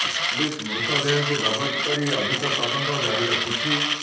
police ମୃତଦେହକୁ ଜବତ କରି ଅଧିକ ତଦନ୍ତ ଜାରି ରଖିଛି